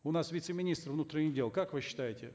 у нас вице министр внутренних дел как вы считаете